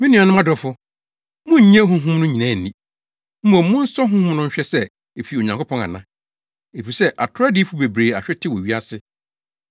Me nuanom adɔfo, munnnye honhom no nyinaa nni. Mmom monsɔ honhom no nhwɛ sɛ efi Onyankopɔn ana. Efisɛ atoro adiyifo bebree ahwete wɔ wiase.